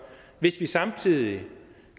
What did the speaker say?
hvis vi samtidig